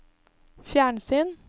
fjernsyn